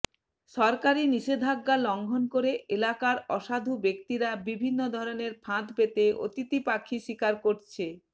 সরকারি নিষেধাজ্ঞা লঙ্ঘন করে এলাকার অসাধু ব্যক্তিরা বিভিন্ন ধরনের ফাঁদ পেতে অতিথি পাখি শিকার করছে